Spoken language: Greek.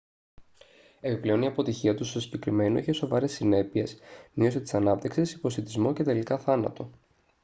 επιπλέον η αποτυχία τους στο συγκεκριμένο είχε σοβαρές συνέπειες μείωση της ανάπτυξης υποσιτισμό και τελικά θάνατο